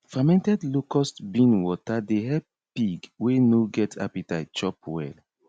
fermented locust bean water dey help pig wey no get appetite chop well